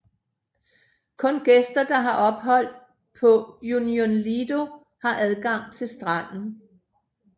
Kun gæster der har ophold på Union Lido har adgang til stranden